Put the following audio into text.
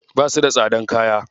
Basu da tsadan kaya.